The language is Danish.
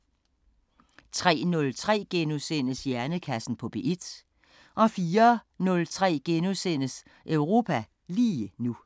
03:03: Hjernekassen på P1 * 04:03: Europa lige nu *